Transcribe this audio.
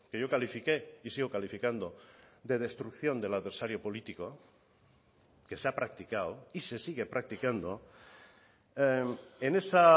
yo califiqué y sigo calificando de destrucción del adversario político que se ha practicado y se sigue practicando en esa